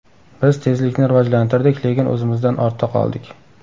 Biz tezlikni rivojlantirdik, lekin o‘zimizdan ortda qoldik.